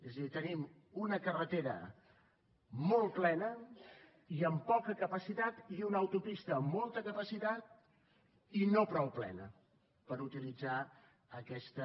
és a dir tenim una carretera molt plena i amb poca capacitat i una autopista amb molta capacitat i no prou plena per utilitzar aquesta